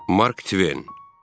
Mark Tven.